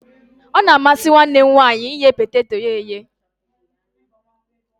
Ọ na-amasi nwanne m nwanyi ighe poteto ya eye